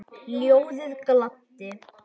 Ljóðið gladdi.